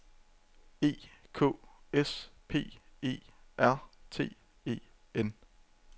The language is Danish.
E K S P E R T E N